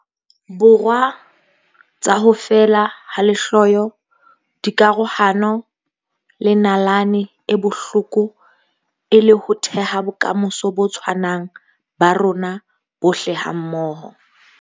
Borwa tsa ho feela ha lehloyo, dikarohano le nalane e bohloko e le ho theha bokamoso bo tshwanang ba rona bohle hammoho.